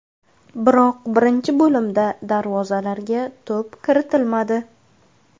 Biroq birinchi bo‘limda darvozalarga to‘p kiritilmadi.